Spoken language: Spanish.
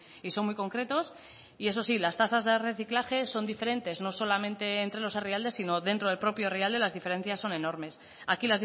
y son muy concretos y eso sí las tasas de reciclaje son diferentes no solamente entre los herrialdes sino dentro del propio herrialde las diferencias son enormes aquí